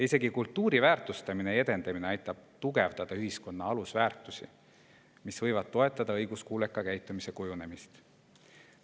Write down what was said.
Isegi kultuuri väärtustamine ja edendamine aitab tugevdada ühiskonna alusväärtusi, mis võivad toetada õiguskuuleka käitumise kujunemist.